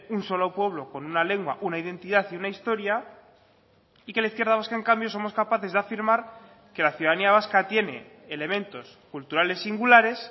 un solo pueblo con una lengua una identidad y una historia y que la izquierda vasca en cambio somos capaces de afirmar que la ciudadanía vasca tiene elementos culturales singulares